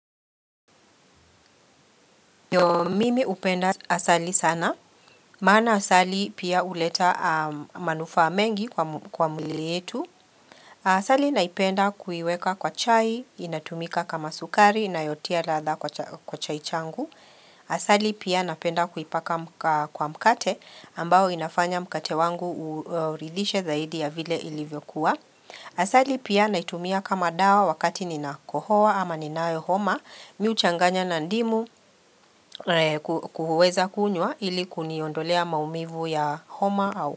Mimi hupenda asali sana. Maana asali pia huleta manufaa mengi kwa mwili yetu. Asali naipenda kuiweka kwa chai, inatumika kama sukari, inayotia ladha kwa chai changu. Asali pia napenda kuipaka kwa mkate ambao inafanya mkate wangu uridishe zaidi ya vile ilivyokuwa. Asali pia naitumia kama dawa wakati ninakohoa ama ninayo homa, mimi huchanganya na ndimu kuhuweza kunywa ili kuniondolea maumivu ya homa au.